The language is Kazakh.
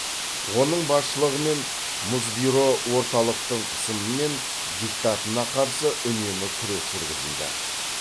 оның басшылығымен мұсбюро орталықтың қысымы мен диктатына қарсы үнемі күрес жүргізді